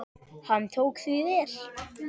Hann tók því vel.